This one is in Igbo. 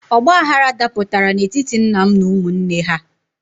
Ọgbaghrara dapụtara n'etiti nna m na ụmụnne ha.